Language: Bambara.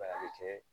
a bɛ kɛ